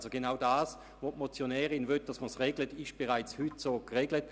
Damit ist genau das, was die Motionärin regeln will, bereits heute geregelt.